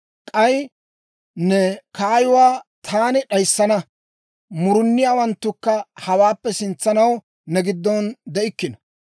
K'ay ne kaayuwaa taani d'ayissana; muruniyaawanttukka hawaappe sintsanaw ne giddon de'ikkino.